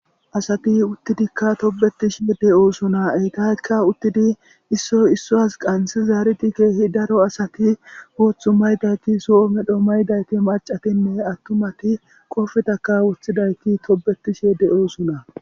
asati uttidikka tobetishe de7oosona eytaykka uttidi issoy issuwas qansi zaariti keehi daro asati wooththu maydayti so7o medho maydayti macatinne attumati qofetaka wuthidaykki tobetishee de7osona